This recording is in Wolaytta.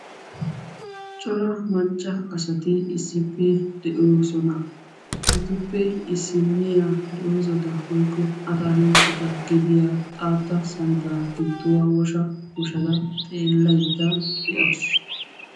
cora macca asati issippe de'oosona. etuppe issiniya doozata woykko attakiltteta gediyaa xaaxxa simmada gidduwa huushsha huushshada xeelaydda de'awus.